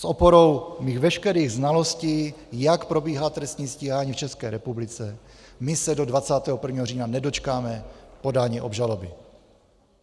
S oporou svých veškerých znalostí, jak probíhá trestní stíhání v České republice, my se do 21. října nedočkáme podání obžaloby.